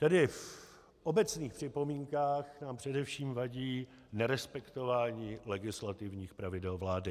Tedy v obecných připomínkách nám především vadí nerespektování legislativních pravidel vlády.